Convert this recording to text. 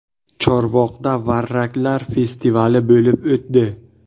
Chorvoqda varraklar festivali bo‘lib o‘tdi .